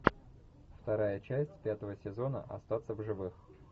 вторая часть пятого сезона остаться в живых